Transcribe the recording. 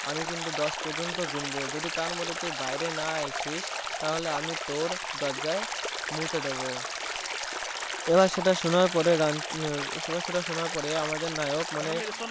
আমি কিন্তু দশ পর্যন্ত গুনবো যদি তার মধ্যে তুই বাইরে না আসিস তাহলে আমি তোর দরজায় মুতে দেব এবার সেটা সোনার পরেই সোনার পরে আমাদের নায়ক মানে